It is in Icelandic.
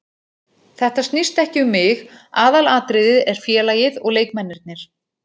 Þetta snýst ekki um mig, aðalatriðið er félagið og leikmennirnir.